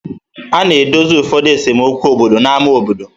A na-edozi ụfọdụ esemokwu obodo n'ámá obodo.